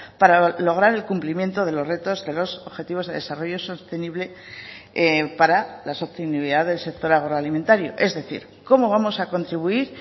para lograr el cumplimiento de los retos de los objetivos de desarrollo sostenible para la sostenibilidad del sector agroalimentario es decir cómo vamos a contribuir